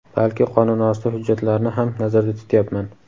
balki qonunosti hujjatlarni ham nazarda tutyapman.